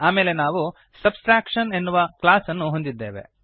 ಆಮೇಲೆ ನಾವು ಸಬ್ಟ್ರಾಕ್ಷನ್ ಎನ್ನುವ ಕ್ಲಾಸ್ ಅನ್ನು ಹೊಂದಿದ್ದೇವೆ